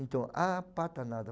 Então, ah, pata nada.